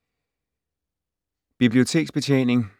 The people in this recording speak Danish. Biblioteksbetjening